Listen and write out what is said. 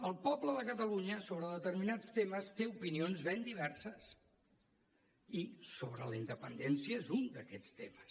el poble de catalunya sobre determinats temes té opinions ben diverses i sobre la independència és un d’aquests temes